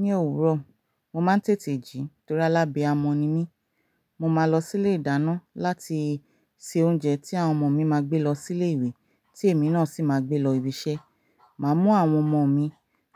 Ní òwúrọ̀, mo máa ń tètè jí nítorí alábiamọ̀ ni mí. Mo máa lọ sí ilé ìdáná láti se oúnjẹ tí àwọn ọmọ mi máa gbé lọ sí ilé ìwé tí èmi náà sì máa gbé lọ ibi iṣẹ́. Máa mú àwọn ọmọ mi